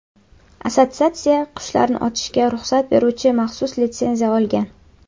Assotsiatsiya qushlarni otishga ruxsat beruvchi maxsus litsenziya olgan.